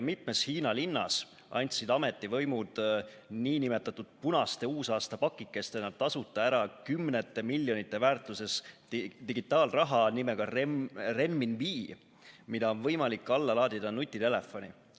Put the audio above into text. Mitmes Hiina linnas andsid ametivõimud nn punaste uusaastapakikestena tasuta ära kümnete miljonite väärtuses digitaalraha nimetusega renminbi, mida on võimalik alla laadida nutitelefoni.